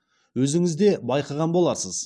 өзіңіз де байқаған боларсыз